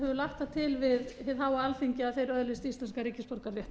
lagt það til við hið háa alþingi að þeir öðlist íslenskan ríkisborgararétt